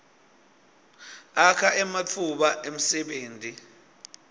akha ematfuba emdebenti